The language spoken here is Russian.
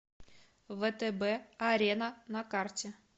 втб арена на карте